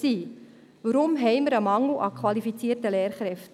Warum haben wir einen Mangel an qualifizierten Lehrkräften?